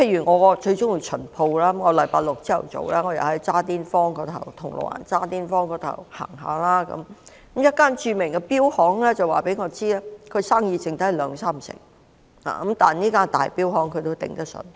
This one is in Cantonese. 我很喜歡"巡鋪"，某星期六早上，當我在銅鑼灣渣甸坊逛街時，有一間著名錶行的店員告訴我，指現時生意只有兩三成，但因那是一間大型錶行，它仍然捱得住。